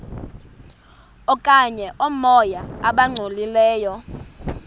okanye oomoya abangcolileyo